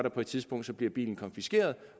at på et tidspunkt bliver bilen konfiskeret